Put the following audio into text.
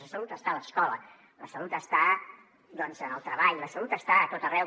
la salut està a l’escola la salut està en el treball la salut està a tot arreu